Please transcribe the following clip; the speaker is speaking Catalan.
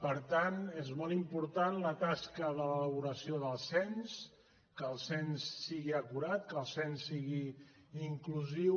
per tant és molt important la tasca d’elabora·ció del cens que el cens sigui acurat que el cens sigui inclusiu